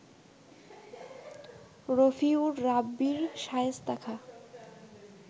রফিউর রাব্বির শায়েস্তা খাঁ